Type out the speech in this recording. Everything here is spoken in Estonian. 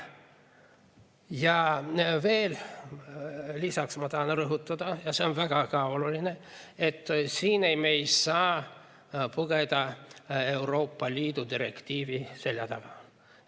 Ja veel ma tahan rõhutada, ja see on ka väga oluline, et siin me ei saa pugeda Euroopa Liidu direktiivi selja taha.